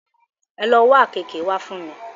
Ẹ lo wá àkeekee wá fún mi!